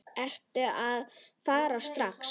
Ertu að fara strax aftur?